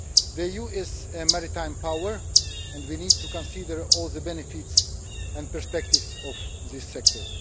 The EU is a maritime power and we need to consider all the benefits and perspectives of this sector.